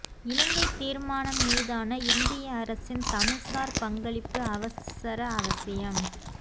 இலங்கை தீர்மானம் மீதான இந்திய அரசின் தமிழர்சார் பங்களிப்பு அவசர அவசியம்